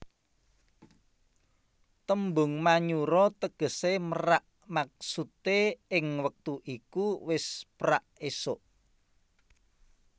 Tembung Manyura tegesé merak maksude ing wektu iku wis prak esuk